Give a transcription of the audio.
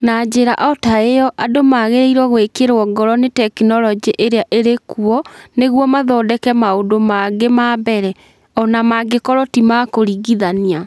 Na njĩra o ta ĩyo, andũ magĩrĩirũo gwĩkĩrũo ngoro nĩ tekinolonjĩ iria irĩ kuo nĩguo mathondeke maũndũ mangĩ ma mbere, o na mangĩkorũo ti ma kũringithania.